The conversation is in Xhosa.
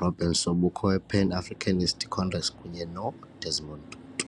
Robert Sobukwe we Pan Africanist Congress kunye no Desmond Tutu .